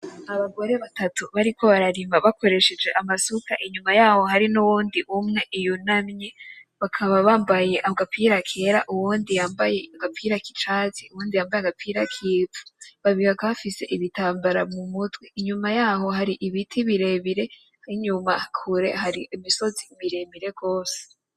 Abagore batatu bariko bararima bakoresheje amasuka inyuma yaho hari n’uyundi umwe yunamye bakaba bambaye agapira kera ;uwundi yambaye agapira k’icatsi; uwundi yambaye agapira k’ivu. Babiri bakaba bafise ibitambara mumutwe inyuma yaho hari ibiti birebire n’inyuma kure hari imisozi miremire gwose.